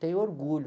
tenho orgulho.